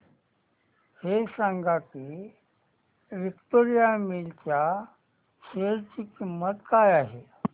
हे सांगा की विक्टोरिया मिल्स च्या शेअर ची किंमत काय आहे